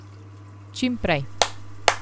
Čim prej.